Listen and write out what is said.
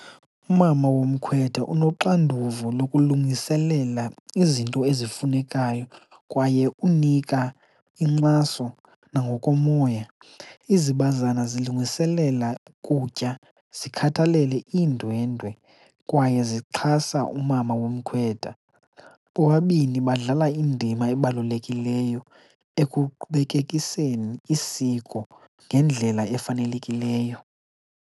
Umama womkhwetha unoxanduva lokulungiselela izinto ezifunekayo kwaye unika inkxaso nangokomoya. Izibazana zilungiselela kutya, zikhathalele iindwendwe kwaye zixhasa umama womkhwetha. Bobabini badlala indima ebalulekileyo ekuqhubekekiseni isiko ngendlela efanelekileyo.